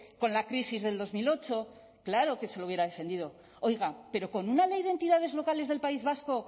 con la crisis del dos mil ocho claro que se lo hubiera defendido oiga pero con una ley de entidades locales del país vasco